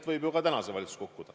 – võib ju ka täna see valitsus kukkuda.